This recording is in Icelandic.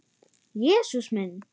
Jesús minn!